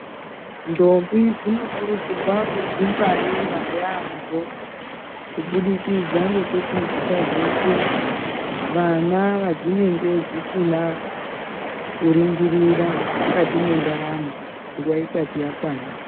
Ntombi dzinokurudzirwa kudzingwarira yaambo kubudikidza ngekuti dzisazoite vana vadzinenge dzisina kuringirira mukati mwendaramo nguwa isati yakwana.